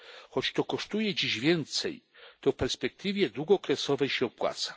Choć to kosztuje dziś więcej, to w perspektywie długookresowej się opłaca.